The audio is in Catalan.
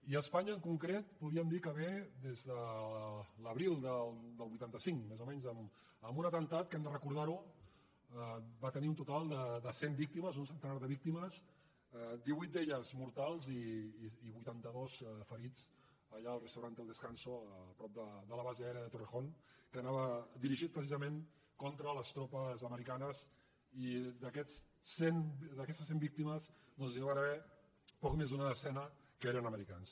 i a espanya en concret podríem dir que ve des de l’abril del vuitanta cinc més o menys amb un atemptat que hem de recordar ho va tenir un total de cent víctimes d’un centenar de víctimes divuit d’elles mortals i vuitantados ferits allà al restaurant el descanso prop de la base aèria de torrejón que anava dirigit precisament contra les tropes nord americanes i d’aquestes cent víctimes doncs n’hi va haver poc més d’una desena que eren americans